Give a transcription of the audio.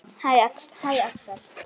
Hæ, Axel.